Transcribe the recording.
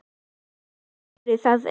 Veistu af hverju það er?